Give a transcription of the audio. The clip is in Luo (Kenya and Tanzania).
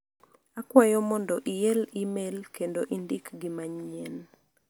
Akwayo mondo iel imel kendo indik gi manyien.